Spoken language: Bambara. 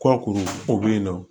Kɔkuru o bɛ yen nɔ